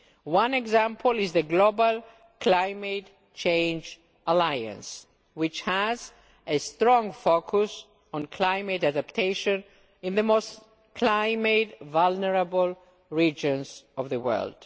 One example is the Global Climate Change Alliance, which has a strong focus on climate adaptation in the most climate vulnerable regions of the world.